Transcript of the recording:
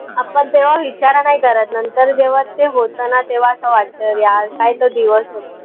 आपन तेव्हा विचार नाई करत नंतर जेव्हा, ते होत ना तेव्हा, असं वाटत यार दिवस होते.